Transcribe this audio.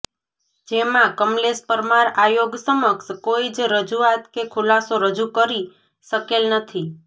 જેમાં કમલેશ પરમાર આયોગ સમક્ષ કોઈજ રજૂઆત કે ખુલાસો રજૂ કરી શકેલ નથી